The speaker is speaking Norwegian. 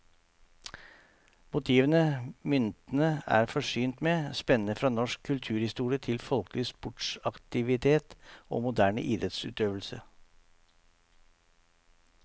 Motivene myntene er forsynt med, spenner fra norsk kulturhistorie til folkelig sportsaktivitet og moderne idrettsøvelse.